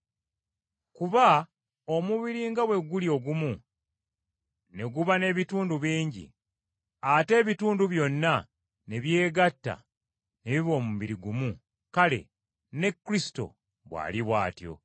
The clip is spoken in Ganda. Kuba omubiri nga bwe guli ogumu, ne guba n’ebitundu bingi, ate ebitundu byonna ne byegatta ne biba omubiri gumu, kale, ne Kristo bw’ali bw’atyo.